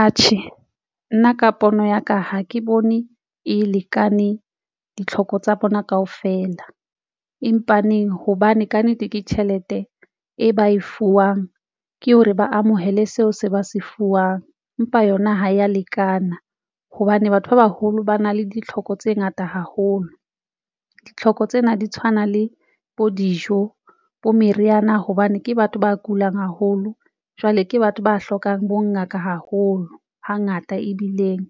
Atjhe, nna ka pono ya ka ha ke bone e lekane ditlhoko tsa bona kaofela empaneng hobane kannete ke tjhelete e ba e fuwang, ke hore ba amohele seo se ba se fuwang, empa yona ha ya lekana hobane batho ba baholo ba na le ditlhoko tse ngata haholo. Ditlhoko tsena di tshwana le bo dijo bo meriana hobane ke batho ba kulang haholo. Jwale ke batho ba hlokang bo ngaka haholo hangata ebileng